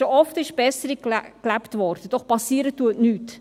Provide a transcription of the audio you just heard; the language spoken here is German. Schon oft wurde Besserung gelobt, doch passiert ist nichts.